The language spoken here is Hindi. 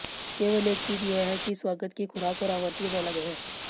केवल एक चीज यह है कि स्वागत की खुराक और आवृत्ति अलग है